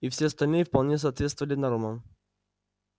и все остальные вполне соответствовали нормам